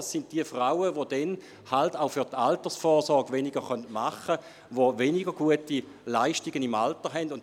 Es sind diejenigen Frauen, die auch weniger für ihre Altersvorsorge tun können und die im Alter weniger gute Leistungen erhalten.